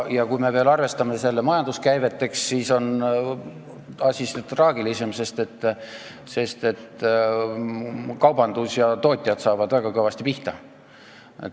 Kui me arvestame selle ümber majanduskäiveteks, siis on asi seda traagilisem, sest kaubandus ja tootjad saavad väga kõvasti pihta.